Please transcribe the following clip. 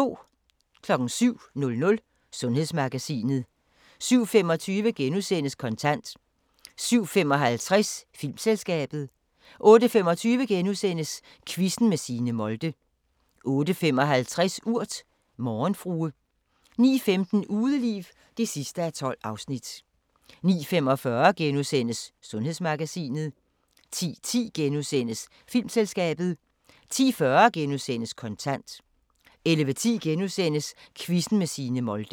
07:00: Sundhedsmagasinet 07:25: Kontant * 07:55: Filmselskabet 08:25: Quizzen med Signe Molde * 08:55: Urt: Morgenfrue 09:15: Udeliv (12:12) 09:45: Sundhedsmagasinet * 10:10: Filmselskabet * 10:40: Kontant * 11:10: Quizzen med Signe Molde *